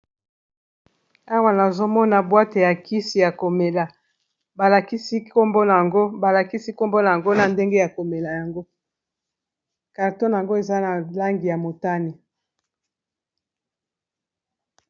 Awa nazomona bwate ya kisi ya komela balakisi nkombo nango na ndenge ya komela yango carton nango eza na langi ya motani.